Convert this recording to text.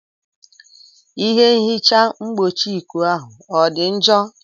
Ihe nhicha mgbochieikuu ahụ ọ dị njọ?